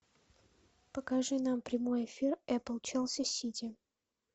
покажи нам прямой эфир апл челси сити